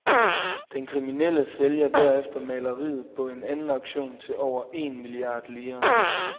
Den kriminelle sælger derefter maleriet på en anden auktion til over en milliard lire.